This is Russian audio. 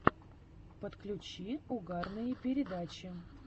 подключи угарные передачи